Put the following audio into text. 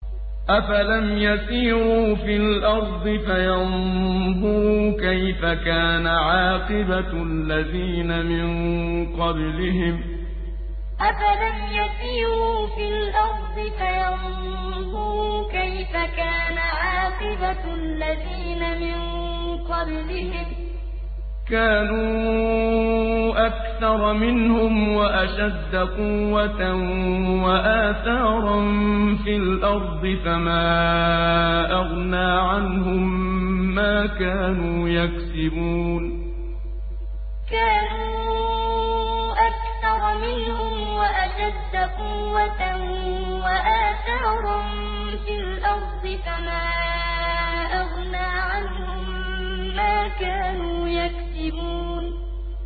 أَفَلَمْ يَسِيرُوا فِي الْأَرْضِ فَيَنظُرُوا كَيْفَ كَانَ عَاقِبَةُ الَّذِينَ مِن قَبْلِهِمْ ۚ كَانُوا أَكْثَرَ مِنْهُمْ وَأَشَدَّ قُوَّةً وَآثَارًا فِي الْأَرْضِ فَمَا أَغْنَىٰ عَنْهُم مَّا كَانُوا يَكْسِبُونَ أَفَلَمْ يَسِيرُوا فِي الْأَرْضِ فَيَنظُرُوا كَيْفَ كَانَ عَاقِبَةُ الَّذِينَ مِن قَبْلِهِمْ ۚ كَانُوا أَكْثَرَ مِنْهُمْ وَأَشَدَّ قُوَّةً وَآثَارًا فِي الْأَرْضِ فَمَا أَغْنَىٰ عَنْهُم مَّا كَانُوا يَكْسِبُونَ